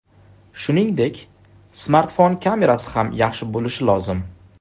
Shuningdek, smartfon kamerasi ham yaxshi bo‘lishi lozim.